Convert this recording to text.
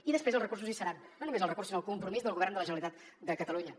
i després els recursos hi seran no només els recursos sinó el compromís del govern de la generalitat de catalunya